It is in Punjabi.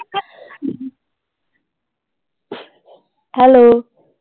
ਹੈਲੋ।